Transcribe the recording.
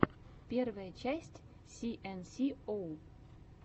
первая часть си эн си оу